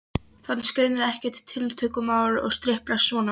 Fannst greinilega ekkert tiltökumál að striplast svona.